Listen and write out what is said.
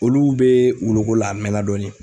Olu bɛ wuluko la a mɛɛnna dɔɔnin